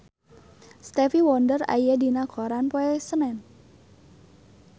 Stevie Wonder aya dina koran poe Senen